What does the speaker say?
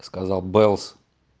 сказал бэлс